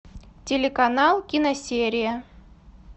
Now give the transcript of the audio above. телеканал киносерия